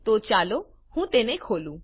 તો ચાલો હું તે ખોલું